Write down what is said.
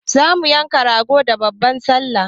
Za mu yanka rago da babban sallah.